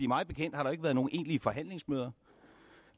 mig bekendt har der ikke været nogen egentlige forhandlingsmøder